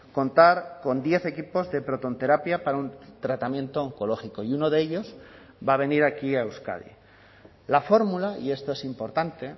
contar con diez equipos de protonterapia para un tratamiento oncológico y uno de ellos va a venir aquí a euskadi la fórmula y esto es importante